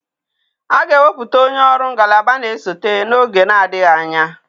A ga-ewepụta onye ọrụ ngalaba na-esote n'oge na-adịghị anya.